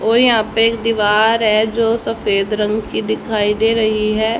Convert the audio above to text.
ओ यहां पे एक दीवार है जो सफेद रंग की दिखाई दे रही है।